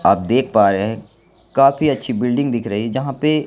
आप देख पा रहे हैं काफी अच्छी बिल्डिंग दिख रही है जहां पे--